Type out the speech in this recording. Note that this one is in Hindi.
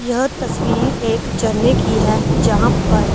यह तस्वीर एक जर्ने की है जहाँ पर--